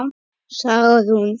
Saga Rún.